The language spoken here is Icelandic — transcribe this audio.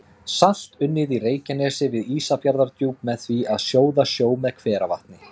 Salt unnið í Reykjanesi við Ísafjarðardjúp með því að sjóða sjó með hveravatni.